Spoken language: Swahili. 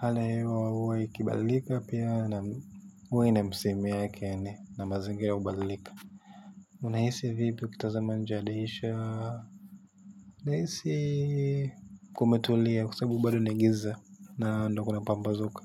hali ya hewa huwa ikibadilika pia huwa ina misimu yake na mazingira huwa inabadilika unahisi vipi ukitazama nje ya dirisha unahisi kumetulia kwa sababu bado inaingiza na ndo kuna pambazuka.